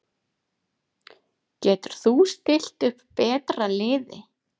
Getur þú stillt upp betra liði?